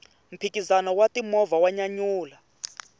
mphikizano wa ti movha wa nyanyula